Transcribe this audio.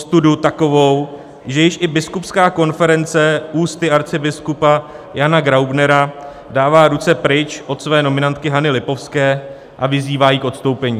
Ostudu takovou, že již i biskupská konference ústy arcibiskupa Jana Graubnera dává ruce pryč od své nominantky Hany Lipovské a vyzývá ji k odstoupení.